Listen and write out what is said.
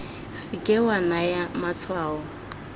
se ke wa naya matshwao